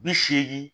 Bi seegin